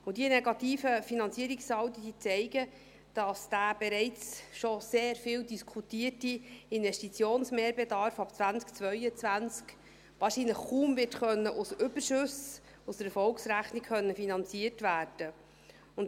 Und diese negativen Finanzierungssaldi zeigen, dass dieser schon bereits sehr viel diskutierte Investitionsmehrbedarf ab 2022 wahrscheinlich kaum aus Überschüssen aus der Erfolgsrechnung wird finanziert werden können.